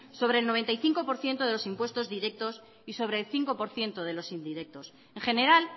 sobre el noventa y cinco por ciento de los impuestos directos y sobre el cinco por ciento de los indirectos en general